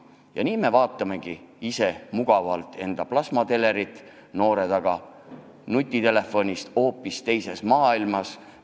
Ja nii me vaatamegi ise mugavalt enda plasmatelerit, noored aga viibivad nutitelefonis hoopis teises maailmas.